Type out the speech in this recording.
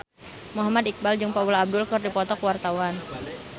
Muhammad Iqbal jeung Paula Abdul keur dipoto ku wartawan